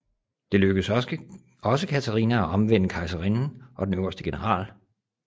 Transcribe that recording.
Det lykkes også Katarina at omvende kejserinden og den øverste general